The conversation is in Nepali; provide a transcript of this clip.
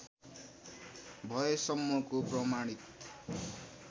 भएसम्मको प्रमाणित